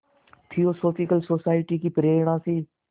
theosophical society की प्रेरणा से